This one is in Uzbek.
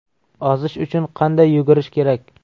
Ozish uchun qanday yugurish kerak?.